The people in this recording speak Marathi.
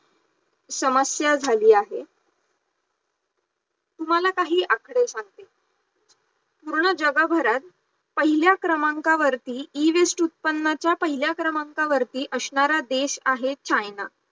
समस्या झाली आहे, तुम्हाला काही आकडे सांगते, पूर्ण जगभरात पहिल्या क्रमांकावरती EWaste उत्पन्नाच्या पहिल्या क्रमांकावरती असणारा देश आहे चायना